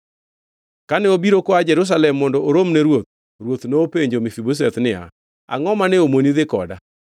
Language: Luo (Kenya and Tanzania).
Kane obiro koa Jerusalem mondo orom ne ruoth, ruoth nopenjo Mefibosheth niya, “Angʼo mane omoni dhi koda?”